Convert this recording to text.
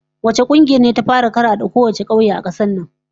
Wace kungiyar ce ta fara karade kowane kauye a kasar nan?